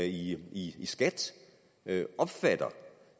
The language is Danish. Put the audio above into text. i skat opfatter